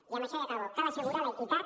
i amb això ja acabo cal assegurar l’equitat